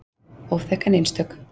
Óþekk en einstök.